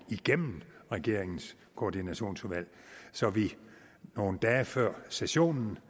igennem regeringens koordinationsudvalg så vi nogle dage før sessionen